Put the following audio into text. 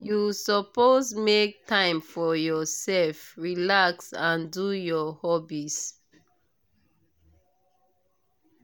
you suppose make time for yourself relax and do your hobbies.